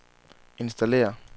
installér